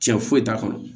Cɛ foyi t'a kɔnɔ